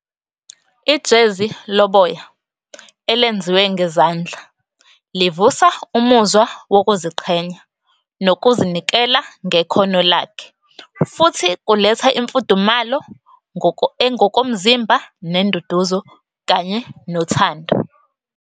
Ijezi loboya elenziwe ngezandla, livusa umuzwa wokuziqhenya nokuzinikela ngekhono lakhe. Futhi kuletha imfudumalo ngokomzimba nenduduzo kanye nothando.